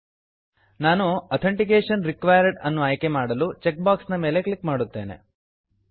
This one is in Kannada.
ನಾನು ಅಥೆಂಟಿಕೇಶನ್ ರಿಕ್ವೈರ್ಡ್ ಅಥೆನ್ಟಿಕೇಶನ್ ರಿಕ್ವೈರ್ಡ್ ಅನ್ನು ಆಯ್ಕೆ ಮಾಡಲು ಚೆಕ್ ಬಾಕ್ಸ್ ನ ಮೇಲೆ ಕ್ಲಿಕ್ ಮಾಡುತ್ತೇನೆ